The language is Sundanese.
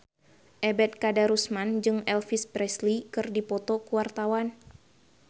Ebet Kadarusman jeung Elvis Presley keur dipoto ku wartawan